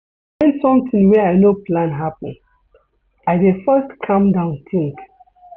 Wen sometin wey I no plan happen, I dey first calm down tink.